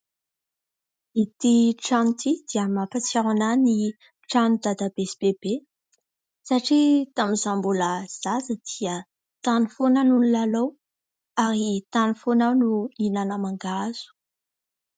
Ity trano ity dia mampatsiaro ahy ny trano dadabe sy bebe satria tamin'izay mbola zaza dia tany foana no nilalao ary tany foana aho no nihinana mangahazo.